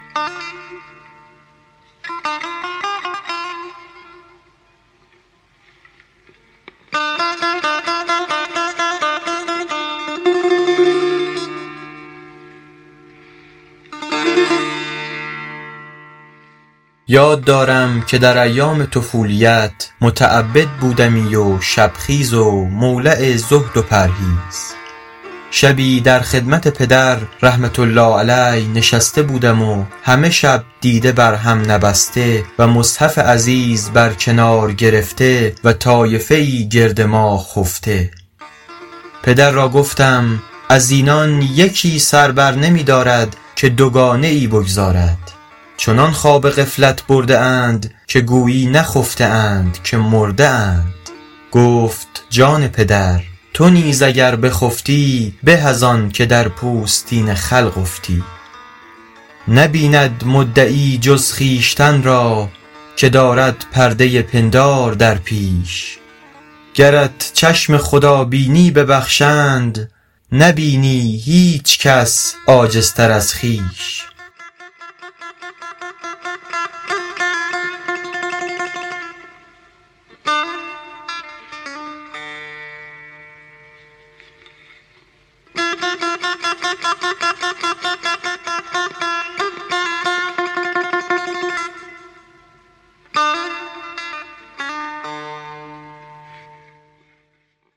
یاد دارم که در ایام طفولیت متعبد بودمی و شب خیز و مولع زهد و پرهیز شبی در خدمت پدر رحمة الله علیه نشسته بودم و همه شب دیده بر هم نبسته و مصحف عزیز بر کنار گرفته و طایفه ای گرد ما خفته پدر را گفتم از اینان یکی سر بر نمی دارد که دوگانه ای بگزارد چنان خواب غفلت برده اند که گویی نخفته اند که مرده اند گفت جان پدر تو نیز اگر بخفتی به از آن که در پوستین خلق افتی نبیند مدعی جز خویشتن را که دارد پرده پندار در پیش گرت چشم خدا بینی ببخشند نبینی هیچ کس عاجزتر از خویش